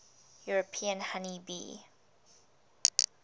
european honey bee